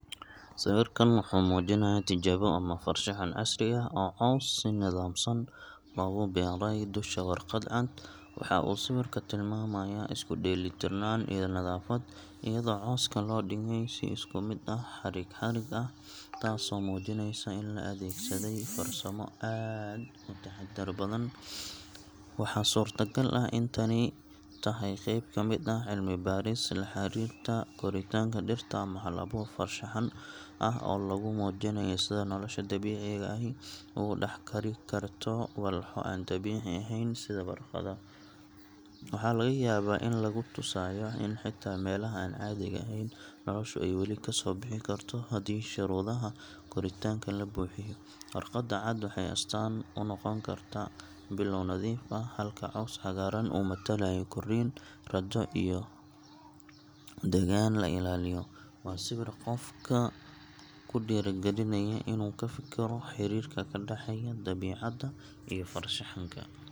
Sawirkan wuxuu muujinayaa tijaabo ama farshaxan casri ah oo caws si nidaamsan loogu beeray dusha warqad cad. Waxa uu sawirku tilmaamayaa isku-dheelitirnaan iyo nadaafad, iyadoo cawska loo dhigay si isku mid ah xarig xarig ah taasoo muujinaysa in la adeegsaday farsamo aad u taxaddar badan. Waxaa suurtagal ah in tani tahay qayb ka mid ah cilmi-baaris la xiriirta koritaanka dhirta ama hal-abuur farshaxan ah oo lagu muujinayo sida nolosha dabiiciga ahi ugu dhex kori karto walxo aan dabiici ahayn sida warqadda. Waxaa laga yaabaa in lagu tusayo in xitaa meelaha aan caadiga ahayn, noloshu ay weli kasoo bixi karto haddii shuruudaha koritaanka la buuxiyo. Warqadda cad waxay astaan u noqon kartaa bilow nadiif ah, halka cawska cagaaran uu matalayo korriin, rajjo, iyo degaan la ilaaliyo. Waa sawir qofka ku dhiirrigelinaya in uu ka fikiro xiriirka ka dhaxeeya dabiicadda iyo farshaxanka.